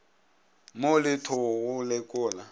mo le tho go lekola